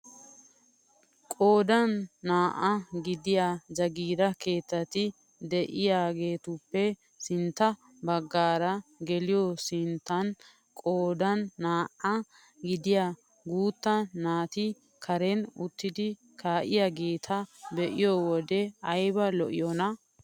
Qoodan naa"aa gidiyaa jaagiira kaaeetati de'iyaagetuppe sintta baggaara geliyoo sinttan qoodan naa"aa gidiyaa guutta naati karen uttidi ka'iyaageta be'iyoo wode ayba lo'iyoonaa!